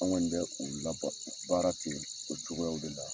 An kɔni bɛ u laba baara ten o cogoyaw de la.